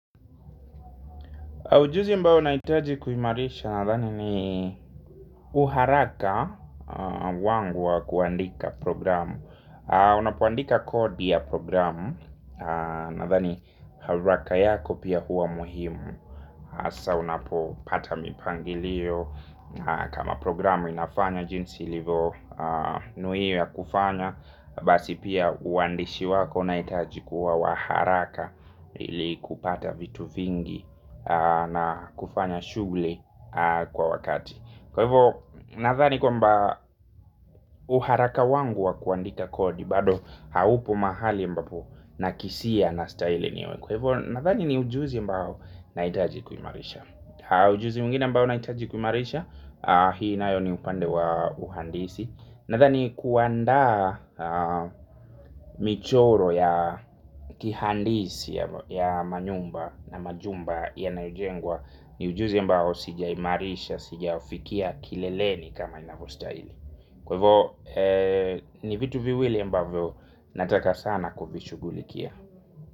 Ujuzi ambao nahitaji kuimarisha nathani ni uharaka wangu wa kuandika programu. Unapoandika kodi ya programu nathani haraka yako pia huwa muhimu. Asa unapopata mipangilio kama programu inafanya jinsi ilivonuia kufanya. Basi pia uandishi wako inaitaji kuwa wa haraka. Ili kupata vitu vingi na kufanya shughuli kwa wakati. Kwa hivyo nathani kwamba uharaka wangu wa kuandika kodi bado haupo mahali mbapo nakisia nastahili niwe. Kwa hivyo nathani ni ujuzi ambao naitaji kuimarisha. Ujuzi mwingine ambao naitaji kuimarisha. Hii nayo ni upande wa uhandisi. Nathani kuandaa michoro ya kihandisi ya manyumba na majumba yanayojengwa ni ujuzi ambao sijaimarisha, sijaufikia kileleni kama inavostaili. Kwa ivo ni vitu viwili ambao nataka sana kuvishugulikia.